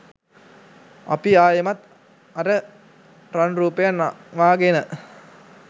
අපි ආයෙමත් අර රන් රූපය නංවාගෙන